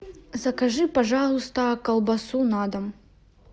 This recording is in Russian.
закажи пожалуйста колбасу на дом